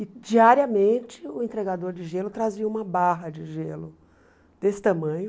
E diariamente o entregador de gelo trazia uma barra de gelo desse tamanho.